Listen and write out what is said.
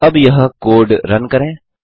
अब यह code run करें